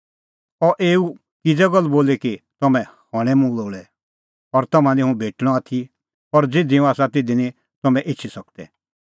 अह एऊ किज़ै गल्ल बोली कि तम्हैं हणैं मुंह लोल़ै और तम्हां निं हुंह भेटणअ आथी और ज़िधी हुंह आसा तिधी निं तम्हैं एछी सकदै